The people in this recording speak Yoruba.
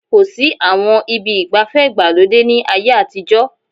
Kò sí àwọn ibi ìgbafẹ́ ìgbàlódé ní ayé àtijọ́